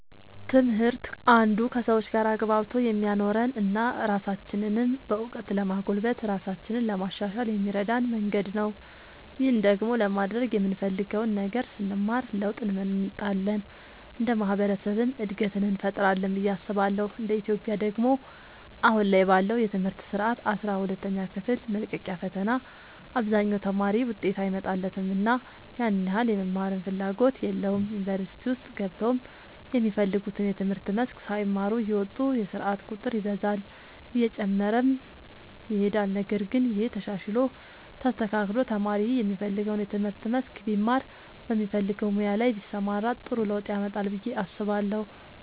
ትምህርት አንዱ ከሰዎች ጋር አግባብቶ የሚያኖረን እና ራሳችንንም በእውቀት ለማጎልበት ራሳችንን ለማሻሻል የሚረዳን መንገድ ነው። ይህን ደግሞ ለማድረግ የምንፈልገውን ነገር ስንማር ለውጥ እንመጣለን እንደ ማህበረሰብም እድገትን እንፈጥራለን ብዬ አስባለሁ እንደ ኢትዮጵያ ደግሞ አሁን ላይ ባለው የትምህርት ስርዓት አስራ ሁለተኛ ክፍል መልቀቂያ ፈተና አብዛኛው ተማሪ ውጤት አይመጣለትምና ያን ያህል የመማርም ፍላጎት የለውም ዩኒቨርሲቲ ውስጥ ገብተውም የሚፈልጉትን የትምህርት መስክ ሳይማሩ እየወጡ የስርዓት ቁጥር ይበዛል እየጨመረም ይሄዳል ነገር ግን ይሄ ተሻሽሎ ተስተካክሎ ተማሪ የሚፈልገውን የትምህርት መስክ ቢማር በሚፈልገው ሙያ ላይ ቢሰማራ ጥሩ ለውጥ ያመጣል ብዬ አስባለሁ።